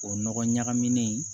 O nɔgɔ ɲagaminen